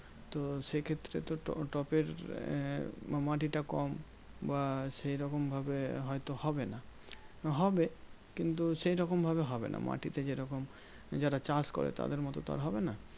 তো সেক্ষেত্রে তো টবের আহ মাটিটা কম বা সেরকম ভাবে হয়তো হবে না। হবে কিন্তু সেইরকম ভাবে হবে না। মাটিতে যেরকম যারা চাষ করে তাদের মতো তো আর হবে না?